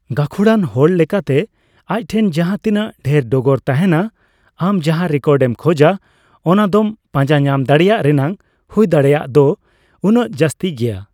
ᱜᱟᱠᱷᱩᱲᱟᱱ ᱦᱚᱲ ᱞᱮᱠᱟᱛᱮ ᱟᱡ ᱴᱷᱮᱱ ᱡᱟᱦᱟᱸ ᱛᱤᱱᱟᱹᱜ ᱰᱷᱮᱨ ᱰᱚᱜᱚᱨ ᱛᱟᱸᱦᱮᱱᱟ, ᱟᱢ ᱡᱟᱦᱟᱸ ᱨᱮᱠᱚᱨᱰ ᱮᱢ ᱠᱷᱚᱡᱟ ᱚᱱᱟ ᱫᱚᱢ ᱯᱟᱸᱡᱟ ᱧᱟᱢ ᱫᱟᱲᱤᱭᱟᱜ ᱨᱮᱱᱟᱜ ᱦᱩᱭ ᱫᱟᱲᱮᱭᱟᱜ ᱫᱚ ᱩᱱᱟᱹᱜ ᱡᱟᱹᱥᱛᱤ ᱜᱮᱭᱟ ᱾